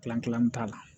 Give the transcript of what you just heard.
t'a la